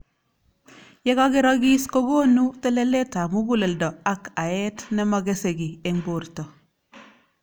Yekakerakis kokonu telelet ab mukuleldo ak aet nemakese ki eng borto.